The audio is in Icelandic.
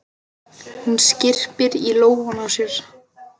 Hún skyrpir í lófana á sér.